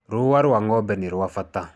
Rũa rwa ng'ombe nĩ rwa bata.